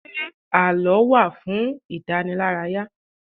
Ṣé àlọ́ wá fún ìdànílárayà?